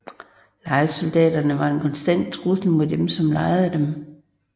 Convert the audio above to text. Lejesoldaterne var en konstant trussel mod dem som lejede dem